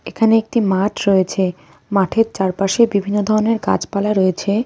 এখানে একটি মাঠ রয়েছে মাঠের চারপাশে বিভিন্ন ধরনের গাছপালা রয়েছে.